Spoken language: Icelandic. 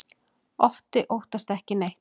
Otti óttast ekki neitt!